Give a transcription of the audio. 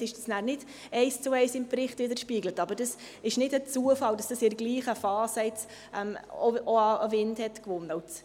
Teilweise wird dies nachher nicht eins zu eins im Bericht widerspiegelt, aber es ist kein Zufall, dass dies in derselben Phase auch an Wind gewonnen hat.